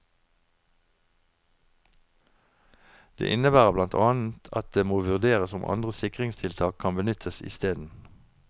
Det innebærer blant annet at det må vurderes om andre sikringstiltak kan benyttes isteden.